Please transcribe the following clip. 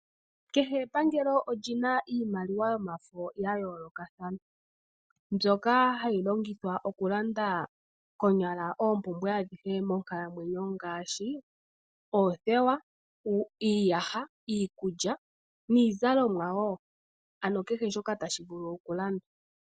Kehe epangelo oli na iimaliwa yomafo ya yoolokathana mbyoka hayi longithwa okulanda konyala oompumbwe adhihe monkalamwenyo ngaashi oothewa, iiyaha, iikulya niizalomwa wo ano kehe shoka tashi vulu okulandwa.